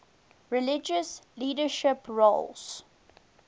religious leadership roles